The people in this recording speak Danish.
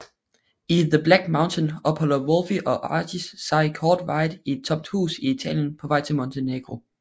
I The Black Mountain opholder Wolfe og Archie sig kortvarigt i et tomt hus i Italien på vej til Montenegro